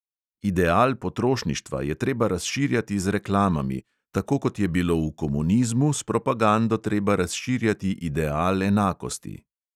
Ideal potrošništva je treba razširjati z reklamami, tako kot je bilo v komunizmu s propagando treba razširjati ideal enakosti.